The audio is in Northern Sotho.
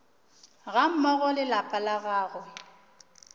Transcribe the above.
gammogo le lapa la gagwe